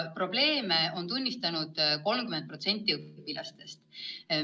Probleeme on tunnistanud 30% õpilastest.